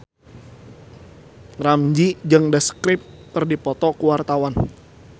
Ramzy jeung The Script keur dipoto ku wartawan